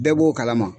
Bɛɛ b'o kalama